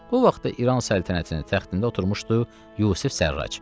Bu vaxtda İran səltənətinin təxtində oturmuşdu Yusif Sərrac.